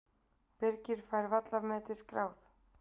Birgir fær vallarmetið skráð